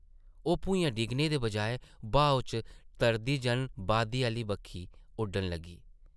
ओह् भुञा डिग्गने दे बजाए ब्हाऊ च तरदी जन वादी आह्ली बक्खी उड्डन लगी ।